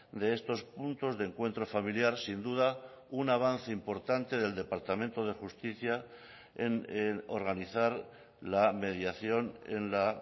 de estos puntos de encuentro familiar sin duda un avance importante del departamento de justicia en organizar la mediación en la